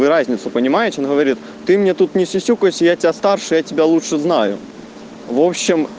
вы разницу понимаете говорит ты мне тут не все кости а старше тебя лучше знаю вобщем